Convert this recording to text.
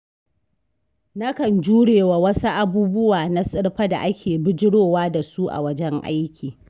Nakan jurewa wasu abubuwa na tsirfa da ake bijirowa da su a wajen aiki.